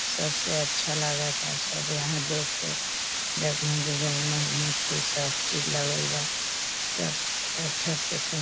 सबसे अच्छा लागता सब यहाँ देख के जगमग जगमग मोती सब चीज़ लगल बा। सब अच्छा से सु --